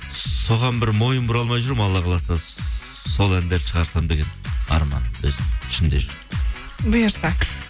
соған бір мойын бұра алмай жүрмін алла қаласа сол әндерді шығарсам деген арман өзім ішімде жүр бұйырса